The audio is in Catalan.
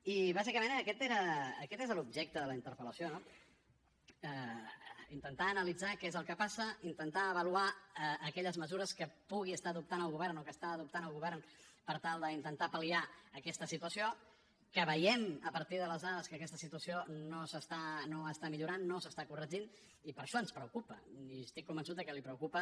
i bàsicament aquest era aquest és l’objecte de la interpel·lació no intentar analitzar què és el que passa intentar avaluar aquelles mesures que pugui estar adoptant el govern o que està adoptant el govern per tal d’intentar pal·liar aquesta situació que veiem a partir de les dades que aquesta situació no està millorant no s’està corregint i per això ens preocupa i estic convençut de que li preocupa